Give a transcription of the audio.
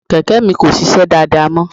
Kẹ̀kẹ́ mi kò sisẹ́ dáadáa mọ́.